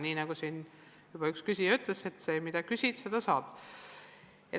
Nii nagu siin üks küsija juba ütles: mida küsid, seda saad.